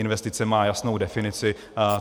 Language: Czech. Investice má jasnou definici.